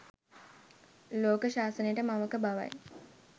ලෝක ශාසනයට මවක බවයි.